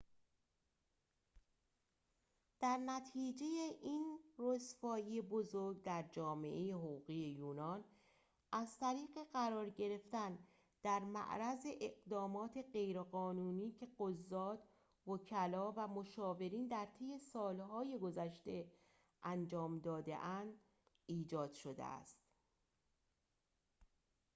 در نتیجه این رسوایی بزرگ در جامعه حقوقی یونان از طریق قرار گرفتن در معرض اقدامات غیرقانونی که قضات وکلا و مشاورین در طی سالهای گذشته انجام داده اند ایجاد شده است